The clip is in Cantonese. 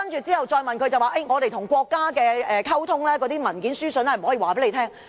之後再問他，他說政府與國家溝通的文件書信不能公開。